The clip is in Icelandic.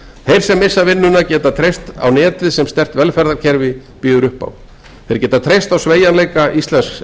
þeir sem missa vinnuna geta treyst á netið sem sterkt velferðarkerfi býður upp á þeir geta treyst á sveigjanleika íslensks